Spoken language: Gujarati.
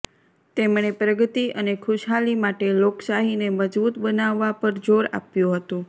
તેમણે પ્રગતિ અને ખુશહાલી માટે લોકશાહીને મજબૂત બનાવવા પર જોર આપ્યું હતું